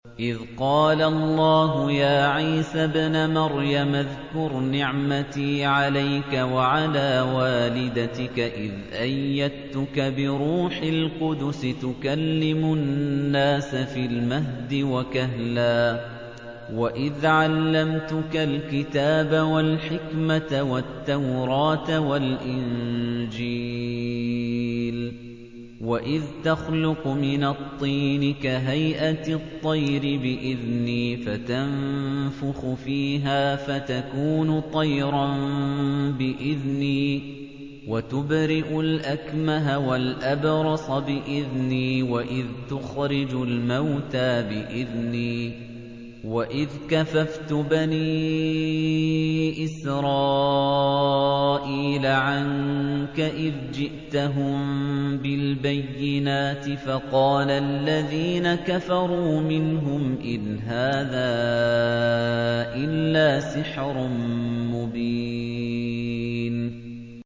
إِذْ قَالَ اللَّهُ يَا عِيسَى ابْنَ مَرْيَمَ اذْكُرْ نِعْمَتِي عَلَيْكَ وَعَلَىٰ وَالِدَتِكَ إِذْ أَيَّدتُّكَ بِرُوحِ الْقُدُسِ تُكَلِّمُ النَّاسَ فِي الْمَهْدِ وَكَهْلًا ۖ وَإِذْ عَلَّمْتُكَ الْكِتَابَ وَالْحِكْمَةَ وَالتَّوْرَاةَ وَالْإِنجِيلَ ۖ وَإِذْ تَخْلُقُ مِنَ الطِّينِ كَهَيْئَةِ الطَّيْرِ بِإِذْنِي فَتَنفُخُ فِيهَا فَتَكُونُ طَيْرًا بِإِذْنِي ۖ وَتُبْرِئُ الْأَكْمَهَ وَالْأَبْرَصَ بِإِذْنِي ۖ وَإِذْ تُخْرِجُ الْمَوْتَىٰ بِإِذْنِي ۖ وَإِذْ كَفَفْتُ بَنِي إِسْرَائِيلَ عَنكَ إِذْ جِئْتَهُم بِالْبَيِّنَاتِ فَقَالَ الَّذِينَ كَفَرُوا مِنْهُمْ إِنْ هَٰذَا إِلَّا سِحْرٌ مُّبِينٌ